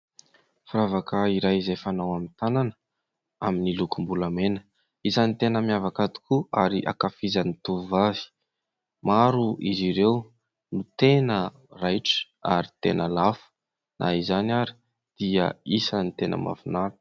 Firavaka iray izay fanao amin'ny tanana amin'ny lokombolamena, isany tena miavaka tokoa ary ankafizan'ny tovovavy, maro izy ireo no tena raitra ary tena lafo na izany ary dia isan'ny tena mahafinaritra.